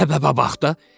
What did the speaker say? Səbəbə bax da.